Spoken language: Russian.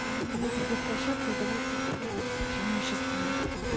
на этих двух в площадках давайте собираться преимущественно